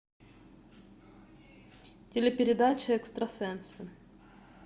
телепередача экстрасенсы